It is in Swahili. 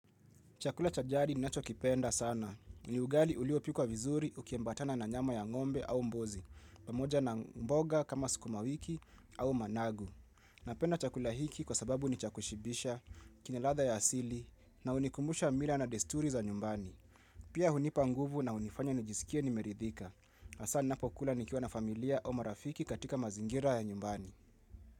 Chakula cha jari ninacho kipenda sana. Ni ugali uliopikwa vizuri ukiambatana na nyama ya ng'ombe au mbuzi. Pamoja na mboga kama skumawiki au managu. Napenda chakula hiki kwa sababu ni cha kushibisha, kina ladha ya asili, na hunikumbusha mila na desturi za nyumbani. Pia hunipa nguvu na hunifanya nijisikie nimeridhika. Hasa ninapokula nikiwa na familia au marafiki katika mazingira ya nyumbani.